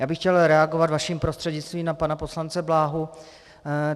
Já bych chtěl reagovat vaším prostřednictvím na pana poslance Bláhu.